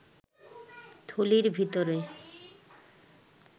থলির ভিতরে